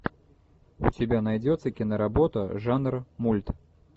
у тебя найдется киноработа жанр мульт